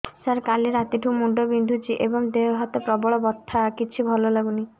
ସାର କାଲି ରାତିଠୁ ମୁଣ୍ଡ ବିନ୍ଧୁଛି ଏବଂ ଦେହ ହାତ ପ୍ରବଳ ବଥା କିଛି ଭଲ ଲାଗୁନି